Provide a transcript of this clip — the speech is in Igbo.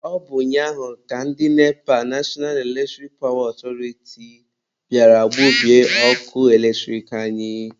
Ọ bụ ụnyaahụ ka ndị NEPA(National Eletric Power Authority) bịara gbubie ọkụ eletrik anyị.